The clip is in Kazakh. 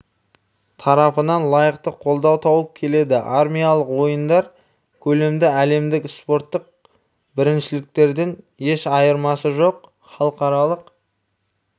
тарапынан лайықты қолдау тауып келеді армиялық ойындар көлемді әлемдік спорттық біріншіліктерден еш айырмасы жоқ халықаралық